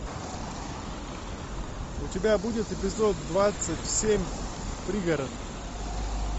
у тебя будет эпизод двадцать семь пригород